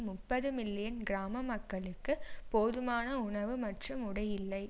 முப்பது மில்லியன் கிராம மக்களுக்கு போதுமான உணவு மற்றும் உடை இல்லை